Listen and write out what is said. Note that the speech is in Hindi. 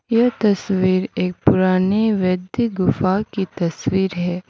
यह तस्वीर एक पुरानी वैध्य गुफा की तस्वीर है।